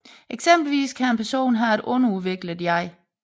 Eksempelvis kan en person have et underudviklet jeg